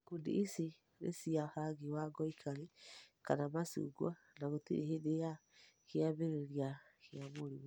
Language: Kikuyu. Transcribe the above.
Ikundi ici nĩ cia rangi wa ngoikoni kana macungwa na gĩtĩri hĩndĩ ya kĩambĩrĩria kĩa mũrimũ.